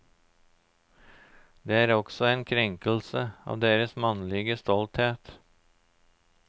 Det er også en krenkelse av deres mannlige stolthet.